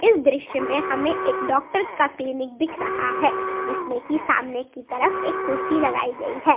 इस दृश्य में हमे एक डॉक्टर का क्लीनिक दिख रहा है जिसमें की सामने की तरफ एक कुर्सी लगाई गई है।